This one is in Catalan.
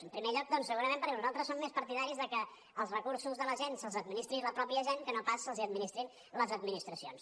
en primer lloc doncs segurament perquè nosaltres som més partidaris de que els recursos de la gent se’ls administri la mateixa gent que no pas els hi administrin les administracions